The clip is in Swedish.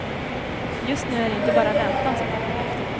Just nu är det inte bara räntan som hänger i luften.